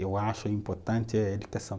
Eu acho importante a educação.